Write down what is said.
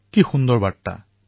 কেনে সুন্দৰ এই বাৰ্তা